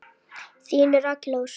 Þín Rakel Ósk.